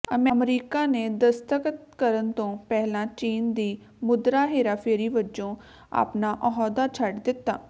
America ਨੇ ਦਸਤਖਤ ਕਰਨ ਤੋਂ ਪਹਿਲਾਂ ਚੀਨ ਦੀ ਮੁਦਰਾ ਹੇਰਾਫੇਰੀ ਵਜੋਂ ਆਪਣਾ ਅਹੁਦਾ ਛੱਡ ਦਿੱਤਾ